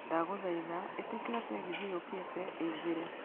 Ndagũthaitha ĩtĩkĩria tegithĨ yũkĩte ĩingĩre